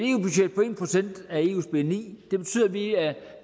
på en procent af eus bni betyder at vi er